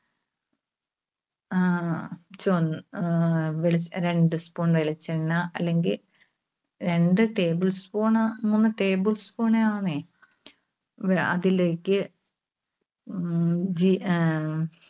ആഹ് ആഹ് വെളി രണ്ട് spoon വെളിച്ചെണ്ണ അല്ലെങ്കിൽ രണ്ട് tablespoon ണ് മൂന്ന് talespoon ണ് അതിലേക്ക് ഉം ജീ ഏ